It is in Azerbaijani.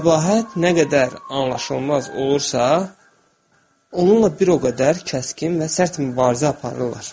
Qəbahət nə qədər anlaşılmaz olursa, onunla bir o qədər kəskin və sərt mübarizə aparırlar.